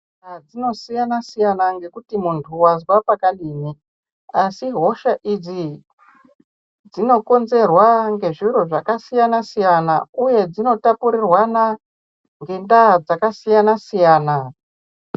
Hosha dzinosiyana siyana ngekuti muntu wanzwa pakadini asi hosha idzi dzinokonzerwa ngezviro zvakasiyana siyana uye dzinotapurirwana ngendaa dzakasiyana siyana.